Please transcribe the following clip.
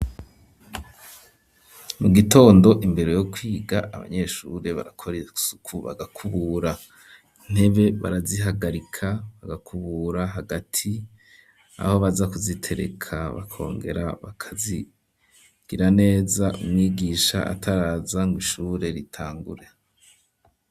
Mu gitondo imbere yo kwiga abanyeshure barakora isuku bagakubura intebe barazihagarika bagakubura hagati aho baza kuzitereka bakongera bakazigira neza umwigisha ataraza ngo ishure ritangure.